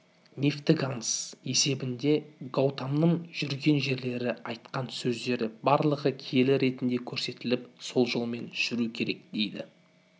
мифтік аңыз есебінде гаутаманың жүрген жерлері айтқан сөздері барлығы киелі ретінде көрсетіліп сол жолмен жүру керек дейді